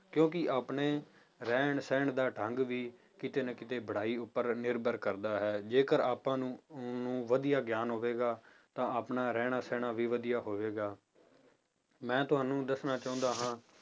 ਕਿਉਂਕਿ ਆਪਣੇ ਰਹਿਣ ਸਹਿਣ ਦਾ ਢੰਗ ਵੀ ਕਿਤੇ ਨਾ ਕਿਤੇ ਪੜ੍ਹਾਈ ਉੱਪਰ ਨਿਰਭਰ ਕਰਦਾ ਹੈ ਜੇਕਰ ਆਪਾਂ ਨੂੰ ਵਧੀਆ ਗਿਆਨ ਹੋਵੇਗਾ ਤਾਂ ਆਪਣਾ ਰਹਿਣਾ ਸਹਿਣਾ ਵੀ ਵਧੀਆ ਹੋਵੇਗਾ ਮੈਂ ਤੁਹਾਨੂੰ ਦੱਸਣਾ ਚਾਹੁੰਦਾ ਹਾਂ